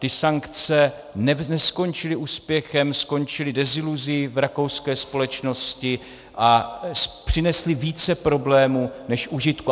Ty sankce neskončily úspěchem, skončily deziluzí v rakouské společnosti a přinesly více problémů než užitku.